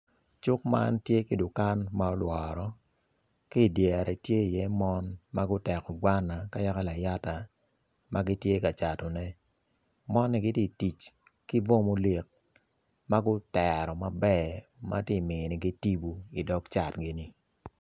cuk man tye ki dukan ma olworo ki idyere ti iye mon ma guteko gwana ka yaka layata ma gitye ka catone moni giti tic bwo olik ma gutero maber ma ti minigi timbu idog cat gini